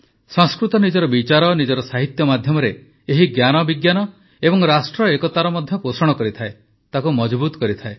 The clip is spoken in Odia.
ସଂସ୍କୃତ ନିଜର ବିଚାର ନିଜର ସାହିତ୍ୟ ମାଧ୍ୟମରେ ଏହି ଜ୍ଞାନବିଜ୍ଞାନ ଓ ରାଷ୍ଟ୍ର ଏକତାର ମଧ୍ୟ ପୋଷଣ କରିଥାଏ ତାକୁ ମଜଭୁତ କରିଥାଏ